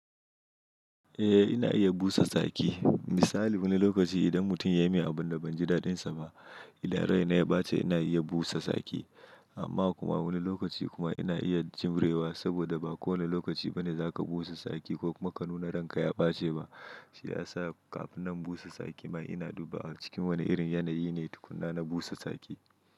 Eh ina iya busa tsaki. Misali wani lokaci idan mutum ya yi min abun da ban ji dadin sa ba, idan raina ya ɓace ina iya busa tsaki. Amma kuma a wani lokaci kuma ina iya jurewa saboda ba kowanne lokaci bane zaka busa tsaki ko kuma ka nuna ranka ya baci shiyasa kafin na busa tsaki ina dubawa cikin wane irin ne yanayi na busa tsaki.